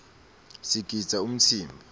sigidza umtsimba